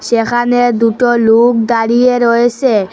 সেখানে দুটো লুক দাঁড়িয়ে রয়েসে ।